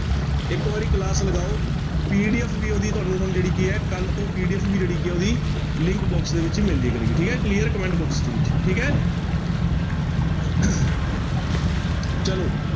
ਇੱਕ ਵਾਰੀ class ਲਗਾਓ PDF ਵੀ ਉਹਦੀ ਤੁਹਾਨੂੰ ਹੁਣ ਜਿਹੜੀ ਕੀ ਹੈ ਕੱਲ੍ਹ ਤੋਂ PDF ਵੀ ਜਿਹੜੀ ਕੀ ਹੈ ਉਹਦੀ link box ਦੇ ਵਿੱਚ ਮਿਲ ਜਾਇਆ ਕਰੇਗੀ ਠੀਕ ਹੈ clear comment box ਦੇ ਵਿੱਚ ਠੀਕ ਹੈ ਚਲੋ।